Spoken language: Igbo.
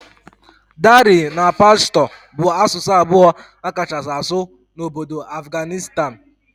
Dari na Pashto bụ asụsụ abụọ akachasi asụ n'obodo Afghanistan.